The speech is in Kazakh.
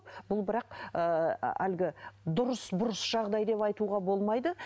бұл бірақ ыыы әлгі дұрыс бұрыс жағдай деп айтуға болмайды